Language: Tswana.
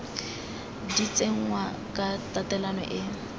di tsenngwa ka tatelano e